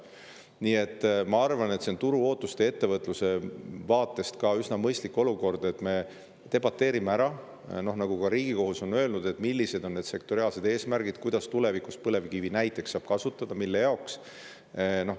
Nii et ma arvan, et see on turuootuste ja ettevõtluse vaatest üsna mõistlik olukord, et me debateerime selle üle, mida ka Riigikohus on öelnud, millised on need sektoriaalsed eesmärgid, kuidas tulevikus saab näiteks põlevkivi kasutada, mille jaoks.